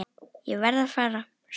Ég verð að fara, sagði